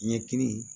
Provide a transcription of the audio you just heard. Ɲɛkili